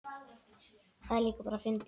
Það er líka bara fyndið.